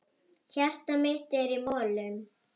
Hjartað mitt er í molum.